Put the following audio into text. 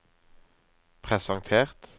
presentert